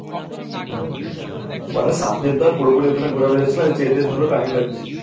হ্যাঁ। মানে সাতদিন তো আর পুরোপুরি ওখানে ঘুরানো যাচ্ছেনা যেতে ধর time লাগছে।